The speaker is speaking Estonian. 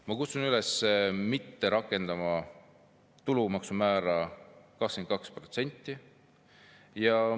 Ma kutsun üles mitte rakendama 22%‑list tulumaksu määra.